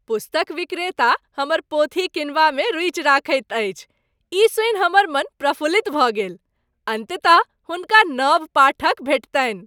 पुस्तक विक्रेता हमर पोथी किनबामे रूचि रखैत अछि, ई सुनि हमर मन प्रफुल्लित भऽ गेल। अन्ततः हुनका नव पाठक भेटतनि ।